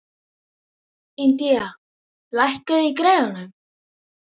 Indía, lækkaðu í græjunum.